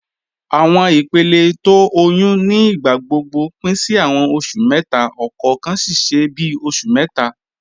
Awọn ìpèlẹ̀ tó ọyún ní ìgbàgbọ́gbọ̀ pin sí awọn oṣù mẹ́ta, ọkọọ̀kan ṣiṣẹ ni bíi oṣù mẹ́ta.